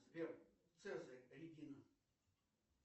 сбер цезарь регина